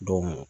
Don